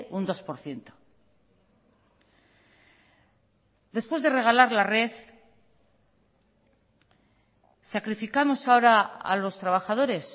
un dos por ciento después de regalar la red sacrificamos ahora a los trabajadores